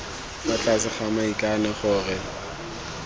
fa tlase ga maikano gore